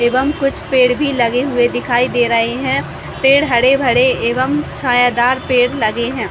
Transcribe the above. एवं कुछ पेड़ भी लगे हुए दिखाई दे रहे है पेड़ हरे-भरे एवं छायादार पेड़ लगे है।